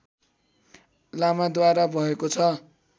लामाद्वारा भएको छ